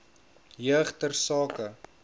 jeug ter sake